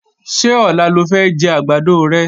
Ṣé ọ̀la lo fẹ́ jẹ́ àgbàdo rẹ?